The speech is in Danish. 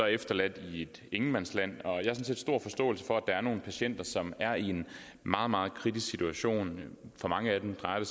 efterladt i et ingenmandsland og jeg set stor forståelse for at der er nogle patienter som er i en meget meget kritisk situation for mange af dem drejer det